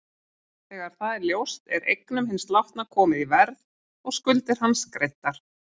Þegar það er ljóst er eignum hins látna komið í verð og skuldir hans greiddar.